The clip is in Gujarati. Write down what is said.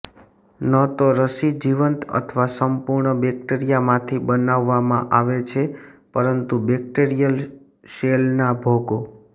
ન તો રસી જીવંત અથવા સંપૂર્ણ બેક્ટેરિયામાંથી બનાવવામાં આવે છે પરંતુ બેક્ટેરીયલ શેલના ભાગો